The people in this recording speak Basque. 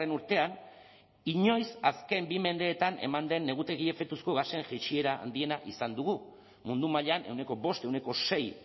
urtean inoiz azken bi mendeetan eman den negutegi efektuko gasen jaitsiera handiena izan dugu mundu mailan ehuneko bost ehuneko sei